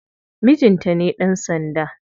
Mijinta ne dan sanda.